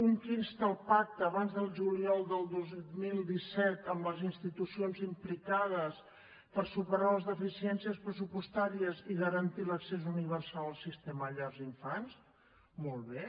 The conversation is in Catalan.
un que insta el pacte abans del juliol del dos mil disset amb les institucions implicades per superar les deficiències pressupostàries i garantir l’accés universal al sistema de llars d’infants molt bé